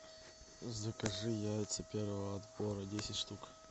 закажи яйца первого отбора десять штук